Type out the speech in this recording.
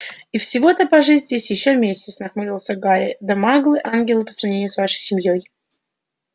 и всего-то пожить здесь ещё месяц нахмурился гарри да маглы ангелы по сравнению с вашей семьёй